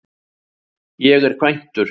Ég er kvæntur.